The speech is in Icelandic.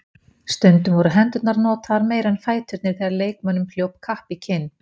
Stundum voru hendurnar notaðar meira en fæturnir þegar leikmönnum hljóp kapp í kinn.